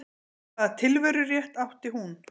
Hvaða tilverurétt átti hún?